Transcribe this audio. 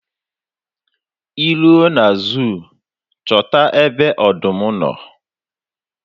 Ị ruo na zuu chọta ebe ọdụm nọ.